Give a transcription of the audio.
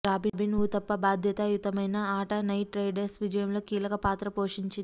robin Uthappa బాధ్యతాయుతమైన ఆట Knight Riders విజయంలో కీలక పాత్ర పోషించింది